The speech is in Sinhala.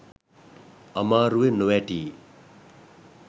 අමාරුවේ නොවැටී